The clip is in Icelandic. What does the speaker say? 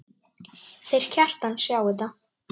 Þeir Kjartan sjá þetta.